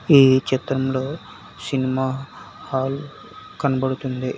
ఈ చిత్రంలో cinema hall కనబడుతుంది.